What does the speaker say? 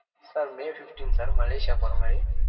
sir may fifteen sir Malaysia போறமாரி